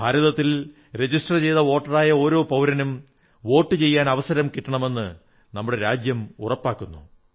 ഭാരതത്തിലെ രജിസ്റ്റർ ചെയ്ത വോട്ടറായ ഓരോ പൌരനും വോട്ടു ചെയ്യാൻ അവസരം കിട്ടണമെന്ന് നമ്മുടെ രാജ്യം ഉറപ്പാക്കുന്നു